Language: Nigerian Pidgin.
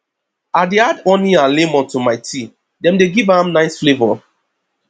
i dey add honey and lemon to my tea dem dey give am nice flavor